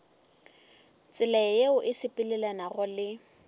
tsela yeo e sepelelanago le